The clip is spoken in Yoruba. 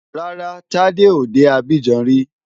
Rárá, Tádé ò dé Abidjan rí.